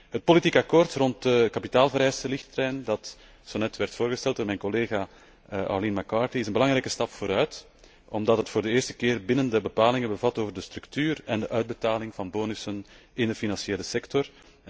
Het politiek akkoord rond de kapitaalvereistenrichtlijn dat zo juist werd voorgesteld door mijn collega Arlene McCarthy is een belangrijke stap vooruit, omdat het voor de eerste keer bindende bepalingen bevat over de structuur en de uitbetaling van bonussen in de financiële sector.